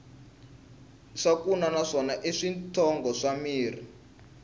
swakunwa na swona i switshongo swa mirhi